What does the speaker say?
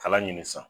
Kala ɲini san